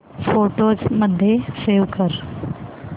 photos मध्ये save कर